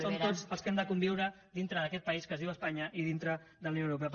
som tots els que hem de conviure dintre d’aquest país que es diu espanya i dintre de la unió europea